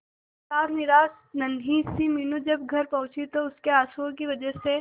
हताश निराश नन्ही सी मीनू जब घर पहुंची तो उसके आंसुओं की वजह से